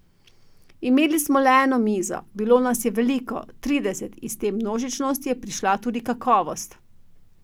Imeli smo le eno mizo, bilo nas je veliko, trideset, iz te množičnosti je prišla tudi kakovost.